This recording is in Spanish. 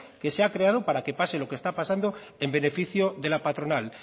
que se ha creado para que pase lo que está pasando en beneficio de la patronal